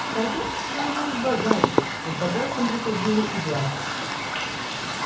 торговцы становились богаче а с богатством приходила и власть